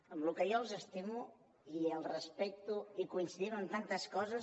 amb el que jo els estimo i els respecto i coincidim en tantes coses